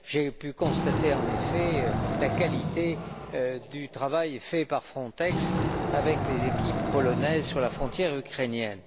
J'ai pu constater, en effet, la qualité du travail accompli par Frontex avec les équipes polonaises sur la frontière ukrainienne.